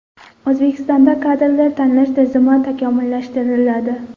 O‘zbekistonda kadrlar tanlash tizimi takomillashtiriladi.